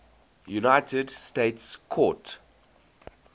united states court